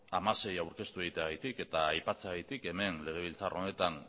hamasei aurkeztu egiteagatik eta aipatzeagatik hemen legebiltzar honetan